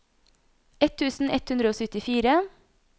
ett tusen ett hundre og syttifire